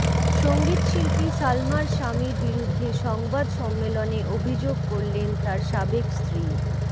সঙ্গীতশিল্পী সালমার স্বামীর বিরুদ্ধে সংবাদ সম্মেলনে অভিযোগ করলেন তার সাবেক স্ত্রী